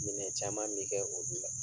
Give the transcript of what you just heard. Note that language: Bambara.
Minɛ caman bɛ kɛ olu la.